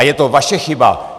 A je to vaše chyba.